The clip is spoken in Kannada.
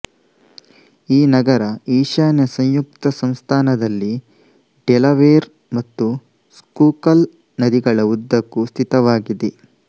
ಈ ನಗರ ಈಶಾನ್ಯ ಸಂಯುಕ್ತ ಸಂಸ್ಥಾನದಲ್ಲಿ ಡೆಲವೇರ್ ಮತ್ತು ಸ್ಕೂಕಲ್ ನದಿಗಳ ಉದ್ದಕ್ಕೂ ಸ್ಥಿತವಾಗಿದೆ